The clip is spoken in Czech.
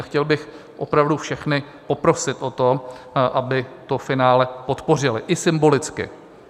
A chtěl bych opravdu všechny poprosit o to, aby to finále podpořili i symbolicky.